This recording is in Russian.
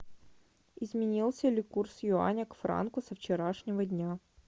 изменился ли курс юаня к франку со вчерашнего дня